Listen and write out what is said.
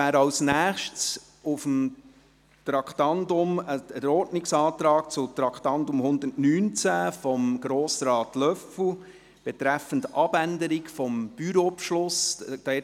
Als Nächstes stünde der Ordnungsantrag von Grossrat Löffel an, zum Traktandum 119 betreffend die Abänderung des Bürobeschlusses.